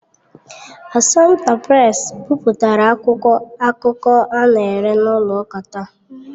Assumpta Presi bipụtara akwụkwọ akụkọ a na-ere n'ụlọ ụka taa.